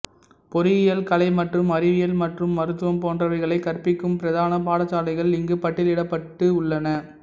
பொறியியல் கலை மற்றும் அறிவியல் மற்றும் மருத்துவம் போன்றவைகளை கற்பிக்கும் பிரதான பாடசாலைகள் இங்கு பட்டியலிடப்பட்டு உள்ளன